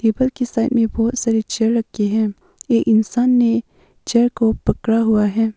के साइड में बहुत सारे चेयर रखे हैं एक इंसान ने चेयर को पकड़ा हुआ है।